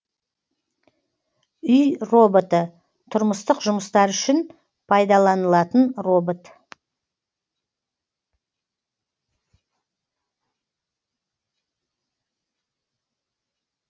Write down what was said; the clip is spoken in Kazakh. үй роботы тұрмыстық жұмыстар үшін пайдаланылатын робот